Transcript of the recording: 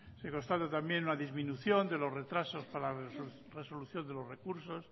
se constata también una disminución de los retrasos para resolución de los recursos